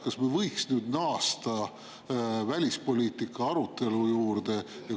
Kas me võiksime nüüd naasta välispoliitika arutelu juurde?